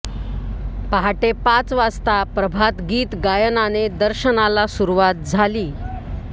पहाटे पाच वाजता प्रभात गीत गायनाने दर्शनाला सुरवात झाली